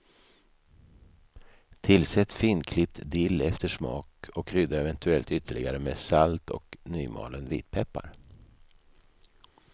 Tillsätt finklippt dill efter smak och krydda eventuellt ytterligare med salt och nymalen vitpeppar.